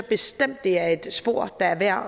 bestemt at det er et spor der er værd